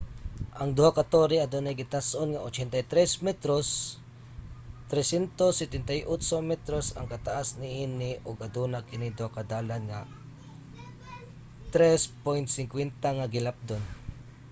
ang duha ka tore adunay gitas-on nga 83 metros 378 metros ang kataas niini ug aduna kini duha ka dalan nga 3.50 ang gilapdon